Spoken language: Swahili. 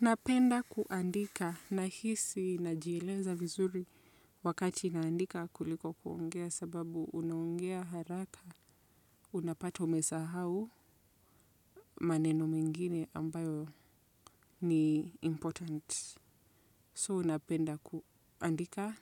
Napenda kuandika nahisi najieleza vizuri wakati naandika kuliko kuongea sababu unaongea haraka unapatwa umesahau maneno mengine ambayo ni important so napenda kuandika